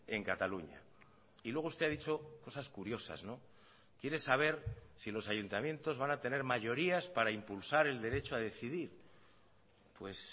en cataluña y luego usted ha dicho cosas curiosas quiere saber si los ayuntamientos van a tener mayorías para impulsar el derecho a decidir pues